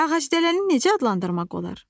Ağacdələni necə adlandırmaq olar?